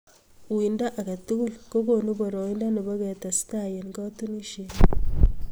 Uindo age tugul kokoonu boroindo nebo ketestaai eng katunisienyoo